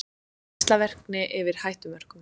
Geislavirkni yfir hættumörkum